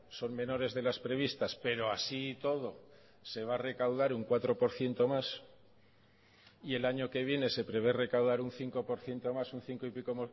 son menores de las previstas pero así y todo se va a recaudar un cuatro por ciento más y el año que viene se prevé recaudar un cinco por ciento más un cinco y pico